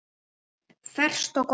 Ferskt og gott.